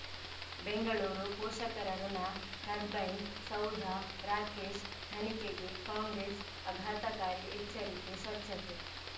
ಬೆಂಗಳೂರು ಪೋಷಕರಋಣ ಟರ್ಬೈನ್ ಸೌಧ ರಾಕೇಶ್ ತನಿಖೆಗೆ ಕಾಂಗ್ರೆಸ್ ಅಘಾತಕಾರಿ ಎಚ್ಚರಿಕೆ ಸ್ವಚ್ಛತೆ